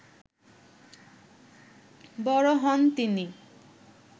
বড় হন তিনি